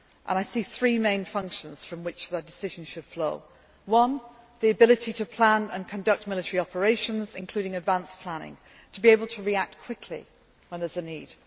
perform. I see three main functions from which the decisions should flow one, the ability to plan and conduct military operations, including advance planning, and to be able to react quickly when there is